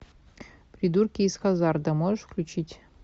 придурки из хазарда можешь включить